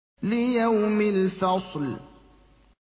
لِيَوْمِ الْفَصْلِ